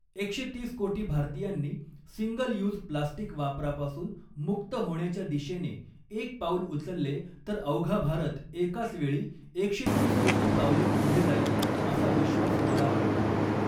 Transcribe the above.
एकशे तीस कोटी भारतीयांनी सिंगल यूज प्लास्टीक वापरापासून मुक्त होण्याच्या दिशेने एक पाऊल उचलले तर अवघा भारत एकाच वेळी एकशे तीस कोटी पावले पुढे जाईल असा विश्वास मला वाटतो.